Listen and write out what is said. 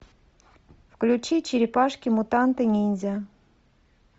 включи черепашки мутанты ниндзя